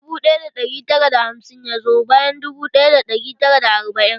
Dubu ɗaya da ɗari tara da hamsin ya zo bayan dubu ɗaya da ɗari tara da arba'in.